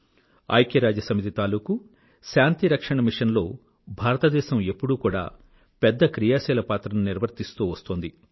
ఐక్యరాజ్యసమితి తాలూకూ శాంతి రక్షణ మిషన్ లో భారతదేశం ఎప్పుడూ కూడా పెద్ద క్రియాశీల పాత్రను నిర్వర్తిస్తూ వస్తోంది